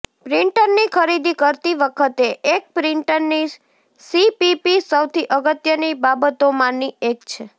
પ્રિન્ટરની ખરીદી કરતી વખતે એક પ્રિંટરની સીપીપી સૌથી અગત્યની બાબતોમાંની એક છે